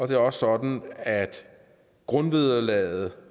det er også sådan at grundvederlaget